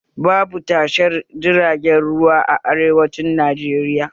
Babu tashar jiragen ruwa a arewacin Najeriya